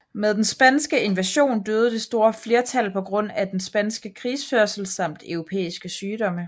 Med den spanske invasion døde det store flertal på grund af den spanske krigførelse samt europæiske sygdomme